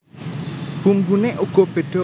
Bumbune uga bedha